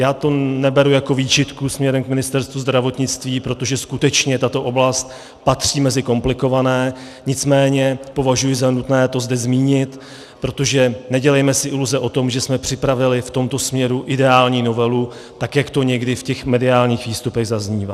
Já to neberu jako výčitku směrem k Ministerstvu zdravotnictví, protože skutečně tato oblast patří mezi komplikované, nicméně považuji za nutné to zde zmínit, protože nedělejme si iluze o tom, že jsme připravili v tomto směru ideální novelu, tak jak to někdy v těch mediálních výstupech zaznívá.